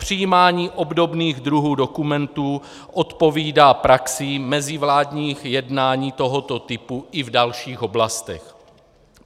Přijímání obdobných druhů dokumentů odpovídá praxi mezivládních jednání tohoto typu i v dalších oblastech.